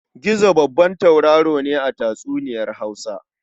Gizo babban tauraro ne a tatsuniyar Hausa.